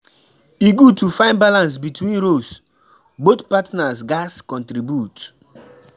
E good to find balance between roles; both partners gatz contribute.